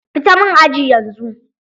Fita min aji yanzu!